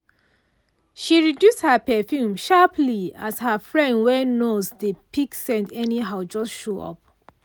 she reduce her perfume sharperly as her friend wey nose dey pick scent anyhow just show.